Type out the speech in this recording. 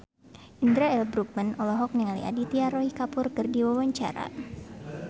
Indra L. Bruggman olohok ningali Aditya Roy Kapoor keur diwawancara